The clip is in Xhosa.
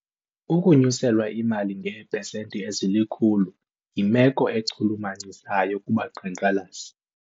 Ukunyuselwa imali ngeepesenti ezilikhulu yimelo echulumachisayo kubaqhankqalazi.